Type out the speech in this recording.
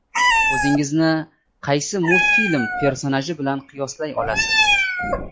O‘zingizni qaysi multfilm personaji bilan qiyoslay olasiz?